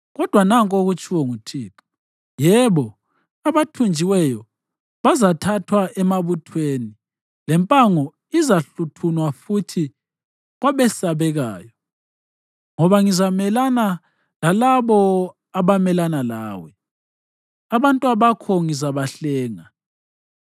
Kodwa nanku okutshiwo nguThixo: “Yebo, abathunjiweyo bazathathwa emabuthweni lempango izahluthunwa futhi kwabesabekayo, ngoba ngizamelana lalabo abamelana lawe, abantwabakho ngizabahlenga.